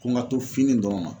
Ko n ga to fini dɔrɔn ma